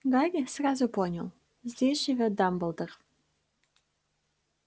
гарри сразу понял здесь живёт дамблдор